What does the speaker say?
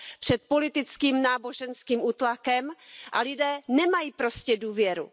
před politickým, náboženským útlakem, a lidé nemají prostě důvěru.